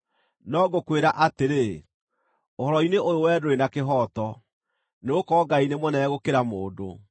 “No ngũkwĩra atĩrĩ, ũhoro-inĩ ũyũ wee ndũrĩ na kĩhooto, nĩgũkorwo Ngai nĩ mũnene gũkĩra mũndũ.